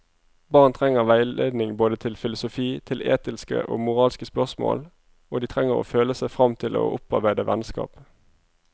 Barn trenger veiledning både til filosofi, til etiske og moralske spørsmål, og de trenger å føle seg frem til å opparbeide vennskap.